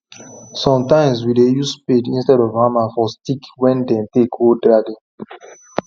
sometimes we dey use spade instead of hammer for stick wen them take hold garden